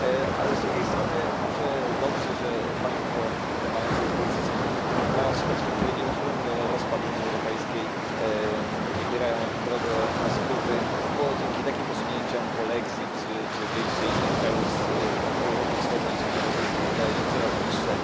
Ale z drugiej strony może dobrze, że Państwo, mając w perspektywie nieuchronny rozpad Unii Europejskiej, wybierają drogę na skróty, bo dzięki takim posunięciom polexit czy wyjście innych krajów Europy Wschodniej z Unii Europejskiej wydaje się coraz bliższe.